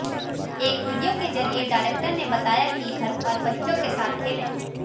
एक वीडियो के जरिए डायरेक्टर ने बताया कि घर पर बच्चों के साथ खेलें